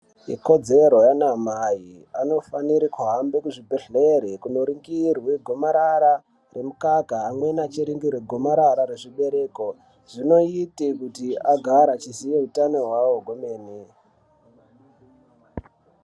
Ikodzero yana amai, anifanire kuhambe kuzvibhedhlere vekunoringirwe gomarara remukaka, amweni achiringirwe gomarara rezvibereko. Zvinote kuti agare achiziya hutano wawo kwemeni.